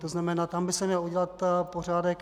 To znamená, tam by se měl udělat pořádek.